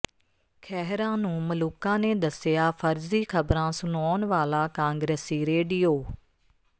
ਖਹਿਰਾ ਨੂੰ ਮਲੂਕਾ ਨੇ ਦੱਸਿਆ ਫਰਜ਼ੀ ਖ਼ਬਰਾਂ ਸੁਣਾਉਣ ਵਾਲਾ ਕਾਂਗਰਸੀ ਰੇਡੀਓ